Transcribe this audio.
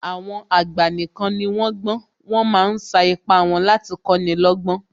Àwọn àgbà nìkan ni wón gbọ́n, wọ́n ma ń sa ipá wọn láti kọ́ni lọ́gbọ́n